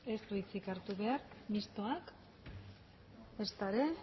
ez du hitzik hartu behar mistoak ezta ere